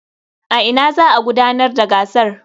A ina za a gudanar da gasar?